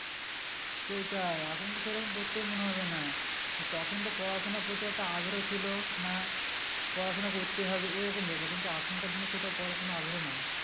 সেটাই এখন তো সেরকম পড়তে মনোভাব হবে না তা তখন তো পড়াশোনার প্রতি একটা আগ্রহ ছিল না পড়াশোনা করতে হবে এরকম ব্যাপার কিন্তু এখনকার দিনে সেটা পড়াশোনা আগ্রহ নাই